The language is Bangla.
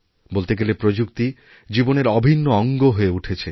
বলতে গেলেপ্রযুক্তি জীবনের অভিন্ন অঙ্গ হয়ে উঠেছে